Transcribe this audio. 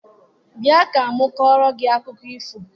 Bịa ka m kọọrọ gị akụkọ ifo!